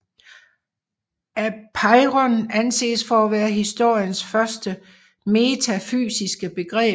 Apeiron anses for at være historiens første metafysiske begreb